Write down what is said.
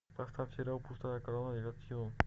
поставь сериал пустая корона девятый сезон